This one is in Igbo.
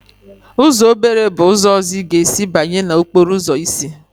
Uzọ obere bụ ụzọ ọzọ ị ga-esi banye n'okporo ụzọ isi.